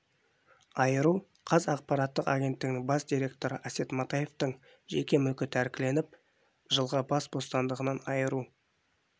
айыру қаз ақпараттық агенттігінің бас директоры әсет матаевтың жеке мүлкі тәркіленіп жылға бас бостандығынан айыру